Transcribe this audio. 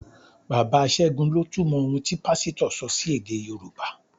Bàbá ségun lọ túmọ̀ ohun tí Pásítọ̀ sọ sí èdè Yorùbá